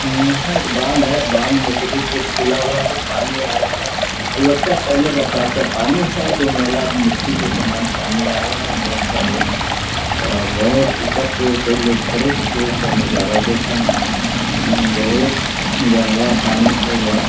यहाँ एक बांध है बांध सभी गेट खुआ हुआ सब पानी आ रहा है और लगता है पहेला पहला बरसात का पानी है जो मैला मिटी के समान पानी आ रहा है बहुत सारे और बहुत ऊपर से खड़े होके उसका नजारा दे रहे है यहाँ बहुत गहरा पानी होगा --